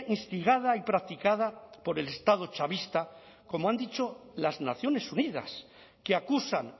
instigada y practicada por el estado chavista como han dicho las naciones unidas que acusan